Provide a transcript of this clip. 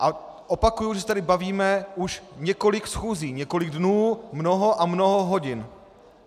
A opakuji, když se tady bavíme už několik schůzí, několik dnů, mnoho a mnoho hodin.